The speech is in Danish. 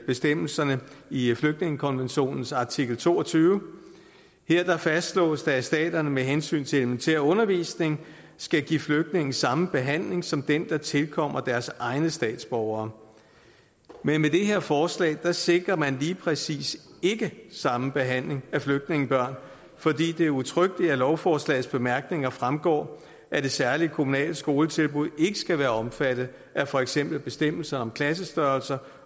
bestemmelserne i i flygtningekonventionens artikel toogtyvende her fastslås det at staterne med hensyn til elementær undervisning skal give flygtninge samme behandling som den der tilkommer deres egne statsborgere men med det her forslag sikrer man lige præcis ikke samme behandling af flygtningebørn fordi det udtrykkeligt af lovforslagets bemærkninger fremgår at det særlige kommunale skoletilbud ikke skal være omfattet af for eksempel bestemmelser om klassestørrelser